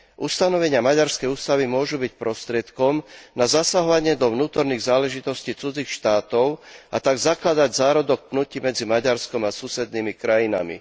Ustanovenia maďarskej ústavy môžu byť prostriedkom na zasahovanie do vnútorných záležitostí cudzích štátov, a tak zakladať zárodok pnutí medzi Maďarskom a susednými krajinami.